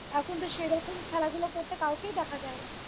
এখন তো সেরকম খেলধুলো করতে কাউকেই দেখা যায়না